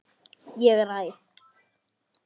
Ég ræð.